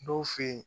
Dɔw fe yen